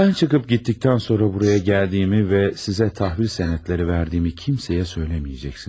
Mən çıxıb getdikdən sonra buraya gəldiyimi və sizə təhvil sənədləri verdiyimi kimsəyə söyləməyəcəksiniz.